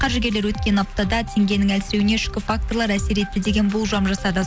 қаржыгерлер өткен аптада теңгенің әлсіреуіне ішкі факторлар әсер етті деген болжам жасады